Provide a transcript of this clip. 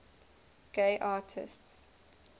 gay artists